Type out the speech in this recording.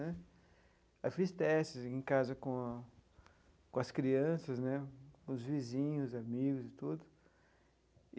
Né aí fiz testes em casa com a com as crianças né, com os vizinhos, amigos e tudo.